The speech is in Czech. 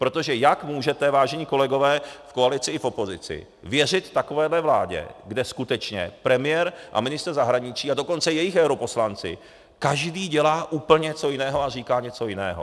Protože jak můžete, vážení kolegové v koalici i v opozici, věřit takovéhle vládě, kde skutečně premiér a ministr zahraničí, a dokonce jejich europoslanci každý dělá úplně něco jiného a říká něco jiného?